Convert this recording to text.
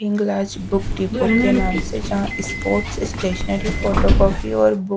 Hinglaj book depot के नाम से जहाँ स्पोर्ट्स स्टेशनरी फोटो कॉपी और बुक --